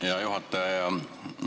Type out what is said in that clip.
Hea juhataja!